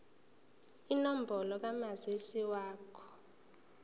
inombolo kamazisi wakho